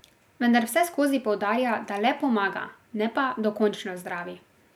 Vendar vseskozi poudarja, da le pomaga, ne pa dokončno zdravi.